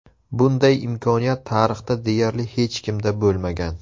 Bunday imkoniyat tarixda deyarli hech kimda bo‘lmagan.